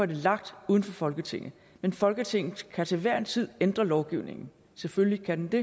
det lagt uden for folketinget men folketinget kan til hver en tid ændre lovgivningen selvfølgelig kan det